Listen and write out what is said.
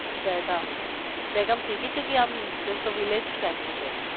Dehgam Dahegam city છે કે આમ just village type નું છે?